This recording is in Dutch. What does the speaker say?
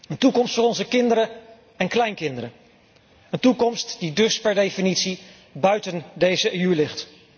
Een toekomst voor onze kinderen en kleinkinderen. Een toekomst die dus per definitie buiten deze EU ligt.